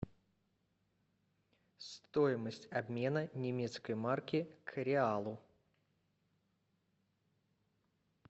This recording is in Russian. стоимость обмена немецкой марки к реалу